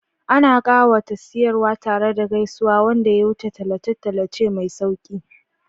Ana ƙawata siyarwa tare da gaisuwa wanda ya wuce tallace-tallace mai sauƙi.